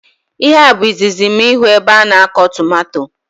Ihe a bụ izizi mụ ịhụ ebe ana akọ tomato